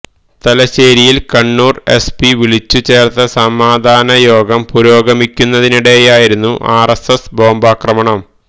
തലശ്ശേരിയില് Kannur SP വിളിച്ചു ചേര്ത്ത സമാധാന യോഗം പുരോഗമിക്കുന്നതിനിടെയായിരുന്നു ആര്എസ്എസ് ബോംബാക്രമണം